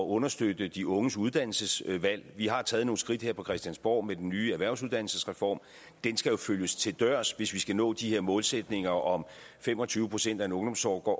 understøtte de unges uddannelsesvalg vi har taget nogle skridt her på christiansborg med den nye erhvervsuddannelsesreform den skal følges til dørs hvis vi skal nå de her målsætninger om fem og tyve procent af en ungdomsårgang